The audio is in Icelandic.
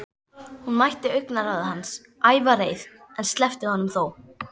Hún mætti augnaráði hans, ævareið, en sleppti honum þó.